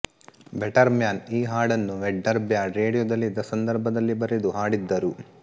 better man ಈ ಹಾಡನ್ನು Vedder bad ರೇಡಿಯೋದಲ್ಲಿದ್ದ ಸಂದರ್ಭದಲ್ಲಿ ಬರೆದು ಹಾಡಿದ್ದರು